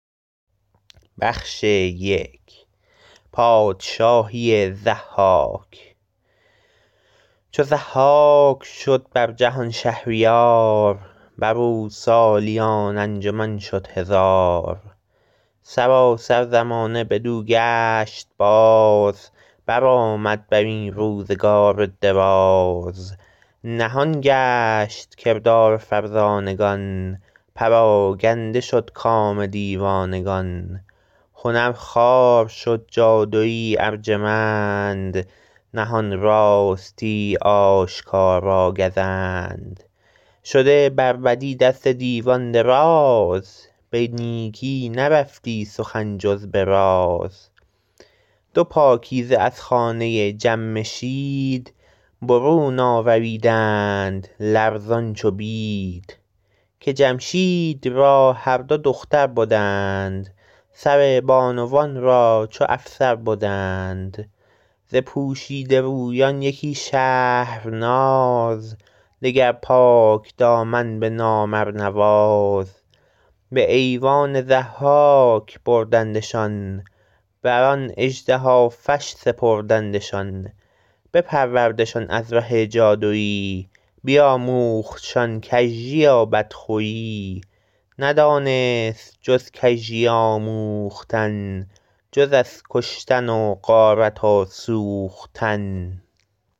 چو ضحاک شد بر جهان شهریار بر او سالیان انجمن شد هزار سراسر زمانه بدو گشت باز برآمد بر این روزگار دراز نهان گشت کردار فرزانگان پراگنده شد کام دیوانگان هنر خوار شد جادویی ارجمند نهان راستی آشکارا گزند شده بر بدی دست دیوان دراز به نیکی نرفتی سخن جز به راز دو پاکیزه از خانه جمشید برون آوریدند لرزان چو بید که جمشید را هر دو دختر بدند سر بانوان را چو افسر بدند ز پوشیده رویان یکی شهرناز دگر پاکدامن به نام ارنواز به ایوان ضحاک بردندشان بر آن اژدهافش سپردندشان بپروردشان از ره جادویی بیاموختشان کژی و بدخویی ندانست جز کژی آموختن جز از کشتن و غارت و سوختن